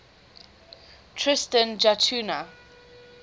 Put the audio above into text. tristan da cunha